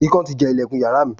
Ikán ti jẹ ìlẹ̀kùn yàrá mi.